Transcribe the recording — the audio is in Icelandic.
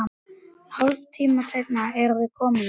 Hálftíma seinna eru þau komin þangað.